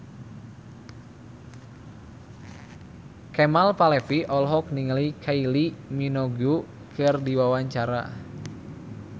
Kemal Palevi olohok ningali Kylie Minogue keur diwawancara